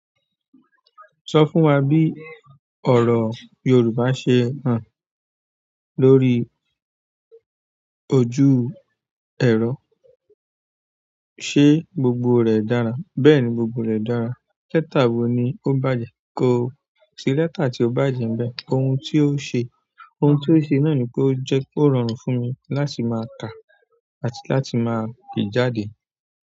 Sọ fún wa bí ọ̀rọ̀ Yorùbá ṣe hán lórí ojú ẹ̀rọ? Ṣé gbogbo rẹ̀ dára? Bẹ́ẹ̀ni, gbogbo rẹ̀ dára. Lẹ́tà wo ni ó bàjẹ́? Ko sí lẹ́tà ti o bàjẹ́ nbe. Ohun tí ó ṣe. Ohun tí ó ṣe náà ni pé ó jẹ́ kó rọrùn fún mi láti máa kà àti láti máa pe jáde.